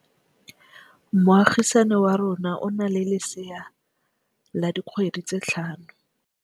Moagisane wa rona o na le lesea la dikgwedi tse tlhano.